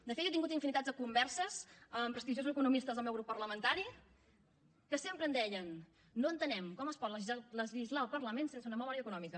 de fet jo tingut infinitats de converses amb prestigiosos economistes del meu grup parlamentari que sempre em deien no entenem com es pot legislar al parlament sense una memòria econòmica